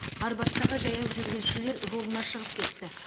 арбаттағы жаяу жүргіншілер жолына шығып кетті